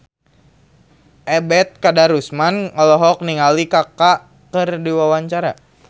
Ebet Kadarusman olohok ningali Kaka keur diwawancara